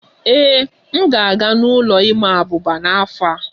Ee, m ga-aga n'ụlọ ịma abuba n'afọ a